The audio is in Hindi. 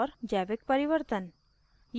जैविक परिवर्तन